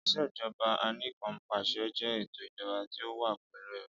ìṣèjọba Anìkanpàṣẹ jẹ eto ijọba ti o wa pẹlu ẹru.